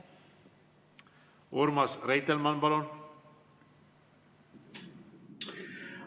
Urmas Reitelmann, palun!